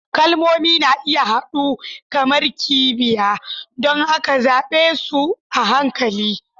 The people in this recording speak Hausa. Kalmomi na iya huda kamar kibiya, don haka zaɓe su a hankali.